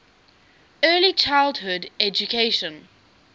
early childhood education